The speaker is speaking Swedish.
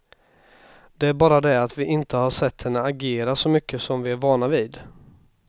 Det är bara det att vi inte har sett henne agera så mycket som vi är vana vid.